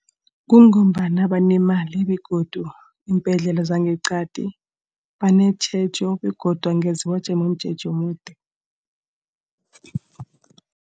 Kungombana banemali begodu iimbhedlela zangeqadi banetjhejo begodu angeze wajama umjeje omude.